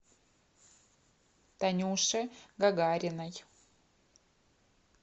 танюше гагариной